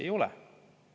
Ei ole.